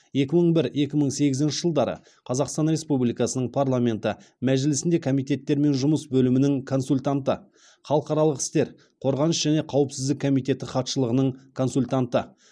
екі мың бір екі мың сегізінші жылдары қазақстан республикасының парламенті мәжілісінде комитеттермен жұмыс бөлімінің консультанты халықаралық істер қорғаныс және қауіпсіздік комитеті хатшылығының консультанты